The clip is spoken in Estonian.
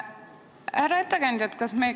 Härra ettekandja!